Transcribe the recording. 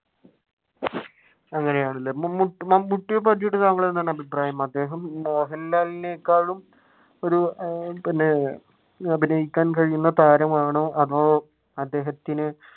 അങ്ങനെയാണല്ലേ മമ്മൂട്ടിയെ പറ്റിയിട്ട് താങ്കൾക്ക് എന്താണ് അഭിപ്രായം? അദ്ദേഹം മോഹൻലാലിനേക്കാളും ഒരു പിന്നെ അഭിനയിക്കാൻ കഴിയുന്ന താരമാണോ അതോ അദ്ദേഹത്തിന്